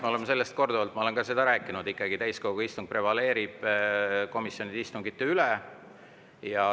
Me oleme sellest korduvalt rääkinud, ma olen ka seda rääkinud, et täiskogu istung ikkagi prevaleerib komisjonide istungite üle.